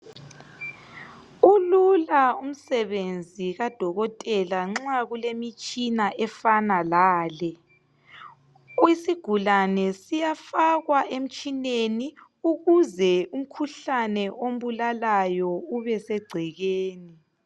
Ulula umsebenzi kadokotela nxa kulemitshina efana lale isigulane siyafakwa emtshineni ukuze umkhuhlane ombulalayo ube segcekeni.